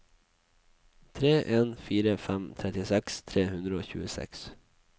tre en fire fem trettiseks tre hundre og tjueseks